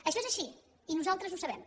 això és així i nosaltres ho sabem